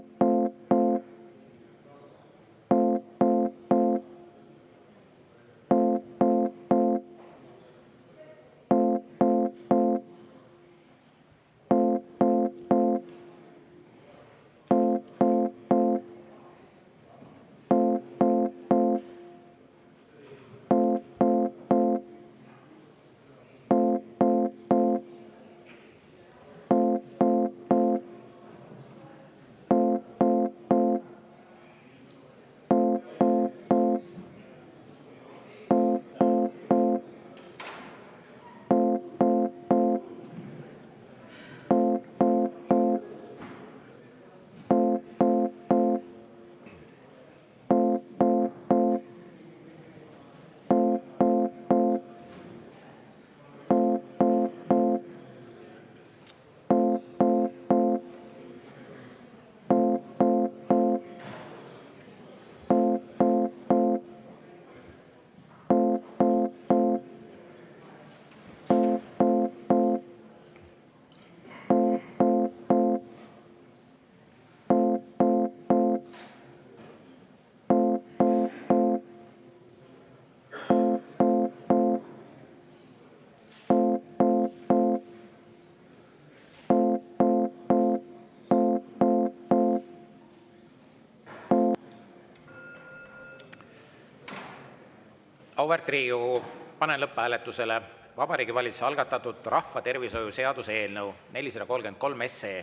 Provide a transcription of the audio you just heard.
Auväärt Riigikogu, panen lõpphääletusele Vabariigi Valitsuse algatatud rahvatervishoiu seaduse eelnõu 433.